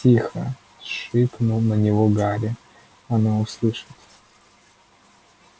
тихо шикнул на него гарри оно услышит